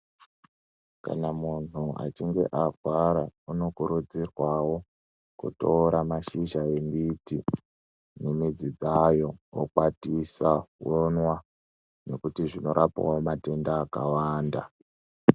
Kana munhu achinge arwara, unokurudzirwawo kutora mashizha embiti nemidzi dzayo, okwatisa onwa, nekuti zvinorapawo matenda akawanda.